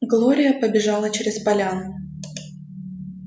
глория побежала через поляну